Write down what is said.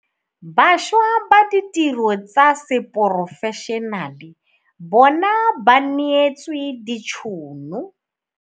Bašwa ba ditiro tsa seporofešenale bona ba neetswe ditšhono.